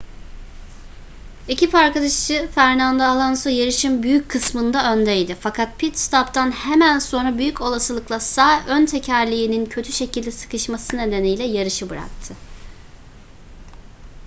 ekip arkadaşı fernando alonso yarışın büyük kısmında öndeydi fakat pit-stop'tan hemen sonra büyük olasılıkla sağ ön tekerleğinin kötü şekilde sıkışması nedeniyle yarışı bıraktı